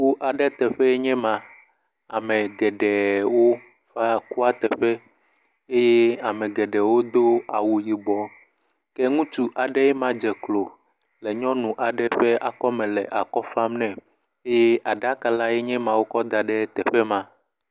Kuteƒe aɖee nye ema. Ame geɖeewo va kua tɔƒe eye ame geɖewo do awu yibɔ. Ke ŋutsu aɖee ma dze klo le nyɔnu aɖe ƒe akɔme le akɔ fam nɛ eye aɖaka lae nye ma wokɔ da ɖe teƒe ma.